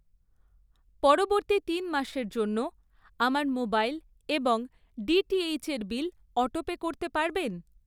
পরবর্তী তিন মাসের জন্য আমার মোবাইল এবং ডিটিএইচের বিল অটোপে করতে পারবেন?